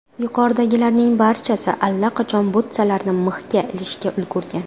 Yuqoridagilarning barchasi allaqachon butsalarini mixga ilishga ulgurgan.